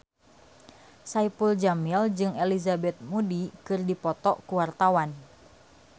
Saipul Jamil jeung Elizabeth Moody keur dipoto ku wartawan